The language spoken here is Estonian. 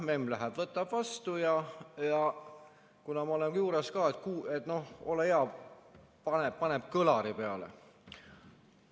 Memm läheb, võtab vastu ja kuna ma olen juures, et noh, ole hea, paneb kõlari peale.